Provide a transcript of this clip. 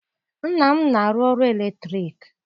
Nna m na-arụ ọrụ eletriki.